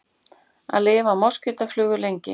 Hvað lifa moskítóflugur lengi?